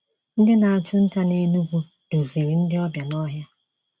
Ndị na-achụ nta na Enugwu duziri ndị ọbịa n’ọhịa.